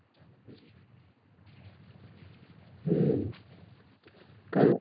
হুম কারো